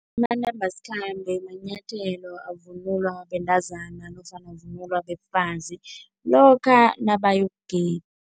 Amanambasikhambe manyathelo avunulwa bentazana nofana avunulwa bafazi lokha nabayokugida